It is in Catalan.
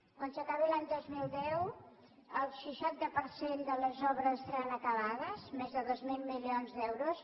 quan s’acabi l’any dos mil deu el seixanta per cent de les obres estaran acabades més de dos mil milions d’euros